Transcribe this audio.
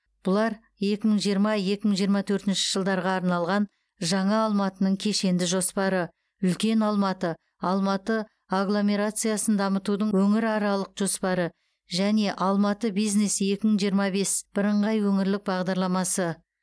бұлар екі мың жиырма екі мың жиырма төртінші жылдарға арналған жаңа алматының кешенді жоспары үлкен алматы алматы агломерациясын дамытудың өңіраралық жоспары және алматы бизнес екі мың жиырма бес бірыңғай өңірлік бағдарламасы